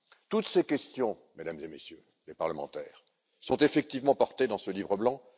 Toutes ces questions, Mesdames et Messieurs les parlementaires, sont effectivement portées dans ce livre blanc.